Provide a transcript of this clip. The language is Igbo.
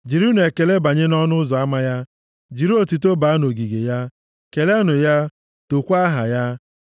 Jirinụ ekele banye nʼọnụ ụzọ ama ya jiri otuto baa nʼogige ya; keleenụ ya, tookwa aha ya.